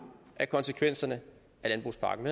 af konsekvenserne af landbrugspakken